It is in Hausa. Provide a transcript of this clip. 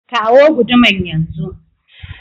Kawo guduman yan zu.